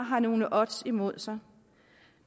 har nogle odds imod sig